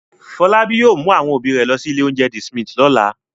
Fọlábí yóò mú àwọn òbí rẹ̀ lọ sí ilé-oúnjẹ The Smith lọ́la.